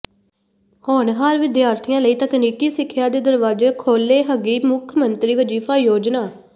ਹੋਣਹਾਰ ਵਿਦਿਆਰਥੀਆਂ ਲਈ ਤਕਨੀਕੀ ਸਿੱਖਿਆ ਦੇ ਦਰਵਾਜ਼ੇ ਖੋਲੇ੍ਹਗੀ ਮੁੱਖ ਮੰਤਰੀ ਵਜ਼ੀਫ਼ਾ ਯੋਜਨਾ